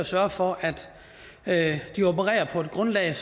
sørge for at de opererer på det grundlag